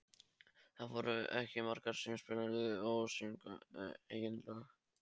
Það voru ekki margir sem spiluðu og sungu eigin lög.